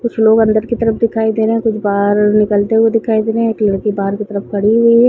कुछ लोग अंदर की तरफ दिखाई दे रहे है कुछ बाहर निकलते हुए दिखाई दे रहे है एक लड़की बाहर की तरफ खड़ी हुई है।